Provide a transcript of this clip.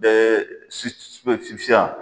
Bɛɛ sus